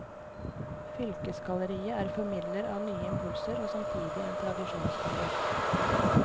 Fylkesgalleriet er formidler av nye impulser og samtidig en tradisjonsbærer.